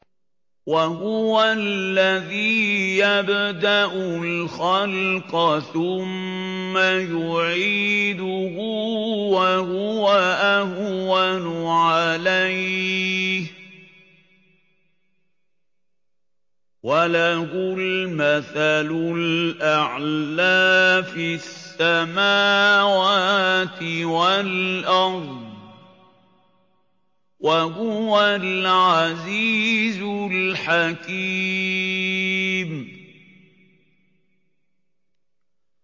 وَهُوَ الَّذِي يَبْدَأُ الْخَلْقَ ثُمَّ يُعِيدُهُ وَهُوَ أَهْوَنُ عَلَيْهِ ۚ وَلَهُ الْمَثَلُ الْأَعْلَىٰ فِي السَّمَاوَاتِ وَالْأَرْضِ ۚ وَهُوَ الْعَزِيزُ الْحَكِيمُ